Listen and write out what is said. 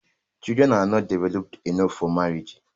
children are not developed enough for marriage